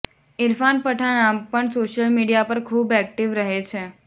ઇરફાન પઠાણ આમ પણ social media પર ખૂબ એક્ટીવ રહે છે